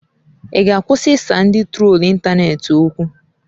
Ị ga-akwụsị ịsa ndị trolu ịntanetị okwu?